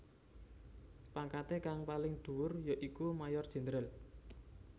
Pangkaté kang paling dhuwur ya iku Mayor Jenderal